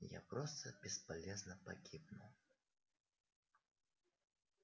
я просто бесполезно погибну